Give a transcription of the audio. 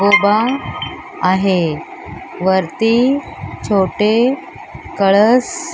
आहे वरती छोटे कळस --